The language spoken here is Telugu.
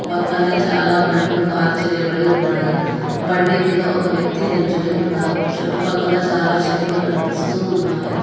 పక్కనే చాలా బండ్లు పార్క్ చేయబడి ఉన్నాయి బండి మీద ఒక వ్యక్తి నించొని ఉన్నారు చుట్టూ పక్కల చాలా చెట్లు కమిపిస్తూ ఉన్నాయి.